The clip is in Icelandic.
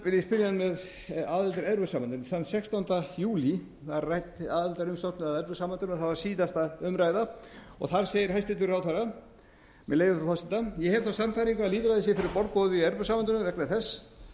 ég spyrja hann með aðild að evrópusambandinu þann sextánda júlí var rædd aðildarumsókn að evrópusambandinu og það var síðasta umræða þar segir hæstvirtur ráðherra með leyfi frú forseta ég hef þá sannfæringu að lýðræðið sé fyrir borð borið í evrópusambandinu vegna þess